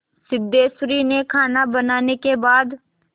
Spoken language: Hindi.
सिद्धेश्वरी ने खाना बनाने के बाद